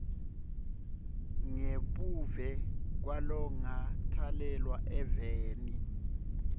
ngebuve kwalongakatalelwa eveni